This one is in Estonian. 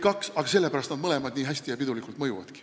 Ja sellepärast nad mõlemad nii hästi ja pidulikult mõjuvadki.